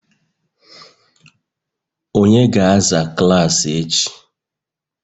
onye ga-azacha klaasị echi?